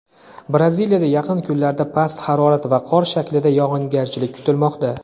Braziliyada yaqin kunlarda past harorat va qor shaklida yog‘ingarchilik kutilmoqda.